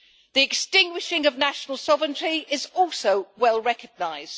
The extinguishing of national sovereignty is also well recognised.